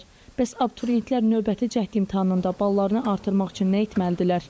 Bəs abituriyentlər növbəti cəhd imtahanında ballarını artırmaq üçün nə etməlidirlər?